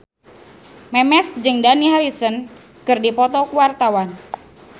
Memes jeung Dani Harrison keur dipoto ku wartawan